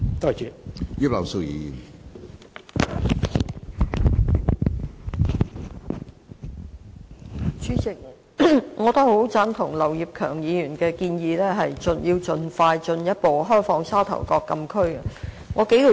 主席，我也很贊同劉業強議員提出盡快進一步開放沙頭角禁區的建議。